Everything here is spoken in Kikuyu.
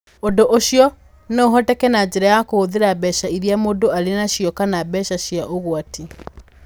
Ũndũ ũcio no ũhoteke na njĩra ya kũhũthĩra mbeca iria mũndũ arĩ nacio kana mbeca cia ũgwati.